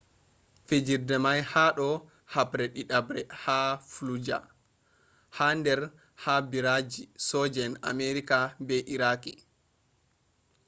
fijirde may ha do haɓre ɗidaɓre ha fallujah ha der ha ɓiraji soje'en amerika be iraqi